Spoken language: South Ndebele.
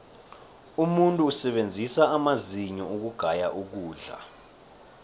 umuntu usebenzisa amazinyo ukugaya ukudla